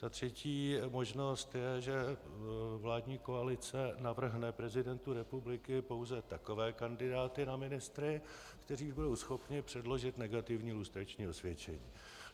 Ta třetí možnost je, že vládní koalice navrhne prezidentu republiky pouze takové kandidáty na ministry, kteří budou schopni předložit negativní lustrační osvědčení.